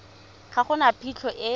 ga go na phitlho e